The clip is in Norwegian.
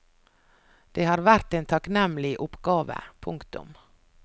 Det har vært en takknemlig oppgave. punktum